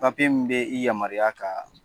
min bɛ i yamaruya ka